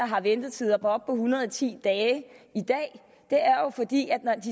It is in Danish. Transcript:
har ventetider på op til en hundrede og ti dage for de